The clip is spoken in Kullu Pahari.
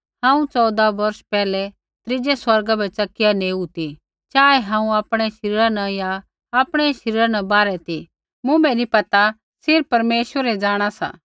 हांऊँ चौऊदा बोर्ष पैहलै त्रीज़ै स्वर्गा बै च़किया नेऊ ती चाहे हांऊँ आपणै शरीरा न या आपणै शरीरा न बाहरै ती मुँभै नी पता सिर्फ़ परमेश्वर ही जाँणा सा